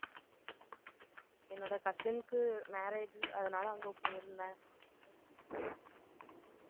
என்னோட cousin க்கு, marriage, அதனால, அங்க போயிருந்தேன்